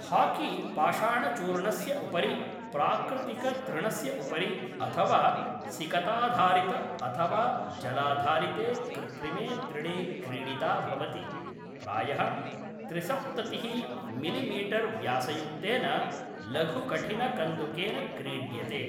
Hockey पाषाणचूर्णस्य उपरि, प्राकृतिकतृणस्य उपरि, अथवा सिकताधारित अथवा जलाधारिते कृत्रिमे तृणे क्रीडिता भवति, प्रायः त्रिसप्ततिः मिलिमीटर् व्यासयुक्तेन लघुकठिनकन्दुकेन क्रीड्यते।